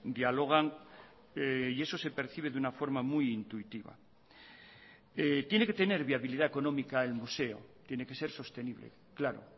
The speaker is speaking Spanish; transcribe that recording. dialogan y eso se percibe de una forma muy intuitiva tiene que tener viabilidad económica el museo tiene que ser sostenible claro